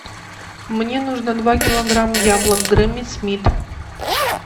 мне нужно два килограмма яблок гренни смит